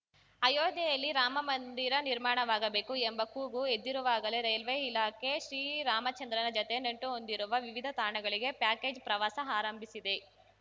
ಅಯೋಧ್ಯೆಯಲ್ಲಿ ರಾಮಮಂದಿರ ನಿರ್ಮಾಣವಾಗಬೇಕು ಎಂಬ ಕೂಗು ಎದ್ದಿರುವಾಗಲೇ ರೈಲ್ವೆ ಇಲಾಖೆ ಶ್ರೀರಾಮಚಂದ್ರನ ಜತೆ ನಂಟು ಹೊಂದಿರುವ ವಿವಿಧ ತಾಣಗಳಿಗೆ ಪ್ಯಾಕೇಜ್‌ ಪ್ರವಾಸ ಆರಂಭಿಸಿದೆ